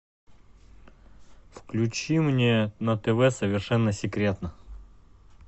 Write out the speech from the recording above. включи мне на тв совершенно секретно